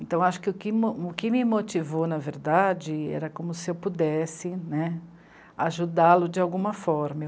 Então, acho que o que mo..., o que me motivou, na verdade, era como se eu pudesse, né, ajudá-lo de alguma forma.